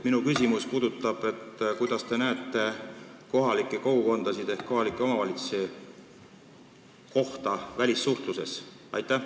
Mis rolli te näete kohalikel kogukondadel ja kohalikel omavalitsustel välissuhtluses?